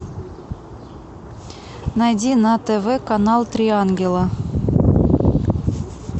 найди на тв канал три ангела